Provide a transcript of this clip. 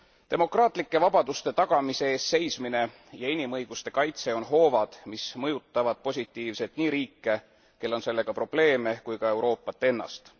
Demokraatlike vabaduste tagamise eest seismine ja inimõiguste kaitse on hoovad, mis mõjutavad positiivselt nii riike, kellel on sellega probleeme, kui ka Euroopat ennast.